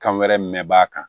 Kan wɛrɛ mɛn a kan